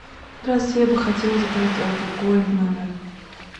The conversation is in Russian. здравствуйте я бы хотела заказать алкоголь в номер